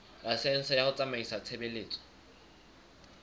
laesense ya ho tsamaisa tshebeletso